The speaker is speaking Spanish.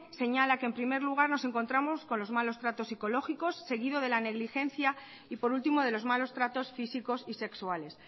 señala que en primer lugar nos encontramos con los malos tratos psicológicos seguidos de la negligencia y por último de los malos tratos físicos y sexuales